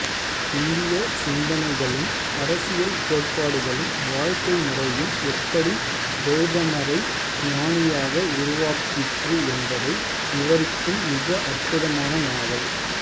இந்திய சிந்தனைகளும் அரசியல் கோட்பாடுகளும் வாழ்க்கை முறையும் எப்படி கௌதமரை ஞானியாக உருவாக்கிற்று என்பதை விவரிக்கும் மிக அற்புதமான நாவல்